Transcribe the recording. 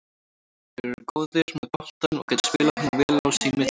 Þeir eru góðir með boltann og geta spilað honum vel sín á milli.